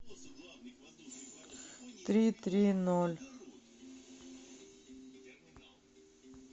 три три ноль